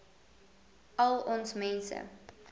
al ons mense